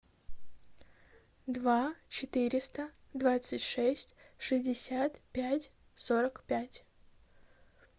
два четыреста двадцать шесть шестьдесят пять сорок пять